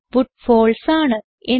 output false ആണ്